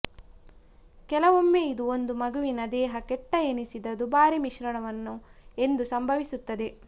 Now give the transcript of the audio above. ಕೆಲವೊಮ್ಮೆ ಇದು ಒಂದು ಮಗುವಿನ ದೇಹ ಕೆಟ್ಟ ಎನಿಸಿದ ದುಬಾರಿ ಮಿಶ್ರಣವನ್ನು ಎಂದು ಸಂಭವಿಸುತ್ತದೆ